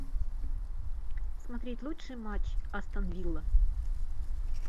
смотреть лучший матч астон вилла